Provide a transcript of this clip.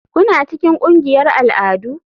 Kuna cikin ƙungiyar al'adu?